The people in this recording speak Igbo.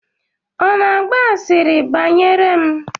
Ọ na-agba asịrị banyere m?